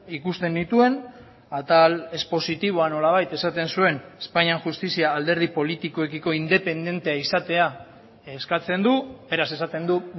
ikusten nituen atal expositiboan nolabait esaten zuen espainian justizia alderdi politikoekiko independentea izatea eskatzen du beraz esaten du